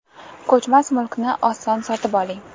Ko‘chmas mulkni oson sotib oling!.